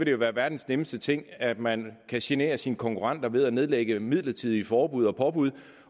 jo være verdens nemmeste ting at man kan genere sine konkurrenter ved at nedlægge midlertidige forbud og påbud